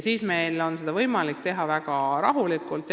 Seda on võimalik teha väga rahulikult.